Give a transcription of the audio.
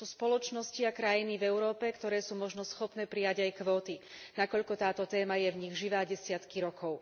Sú spoločnosti a krajiny v Európe, ktoré sú možno schopné prijať aj kvóty, nakoľko táto téma je v nich živá desiatky rokov.